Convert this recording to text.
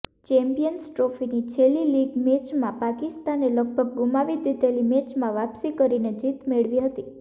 Champions ટ્રોફીની છેલ્લી league મેચમાં પાકિસ્તાને લગભગ ગુમાવી દીધેલી મેચમાં વાપસી કરીને જીત મેળવી હતી